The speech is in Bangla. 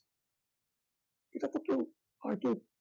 এটাতো কেউ আর কেউ